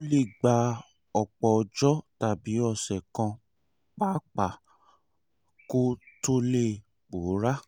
ó lè gba ọ̀pọ̀ ọjọ́ tàbí ọ̀sẹ̀ kan pàápàá kó tó lè pòórá